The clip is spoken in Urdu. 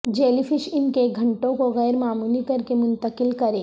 جیلیفش ان کے گھنٹوں کو غیرمعمولی کرکے منتقل کریں